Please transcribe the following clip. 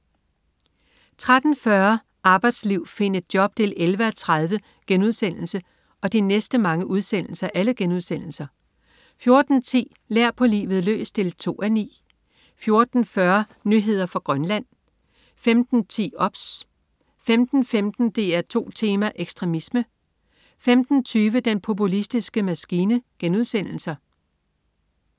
13.40 Arbejdsliv. Find et job! 11:30* 14.10 Lær på livet løs 2:9* 14.40 Nyheder fra Grønland* 15.10 OBS* 15.15 DR2 Tema: Ekstremisme* 15.20 Den populistiske maskine*